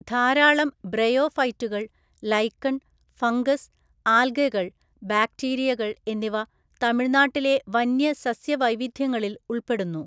ധാരാളം ബ്രയോഫൈറ്റുകൾ, lichen, fungus, ആൽഗകൾ, ബാക്ടീരിയകൾ എന്നിവ തമിഴ്‌നാട്ടിലെ വന്യ സസ്യ വൈവിധ്യങ്ങളിൽ ഉൾപ്പെടുന്നു.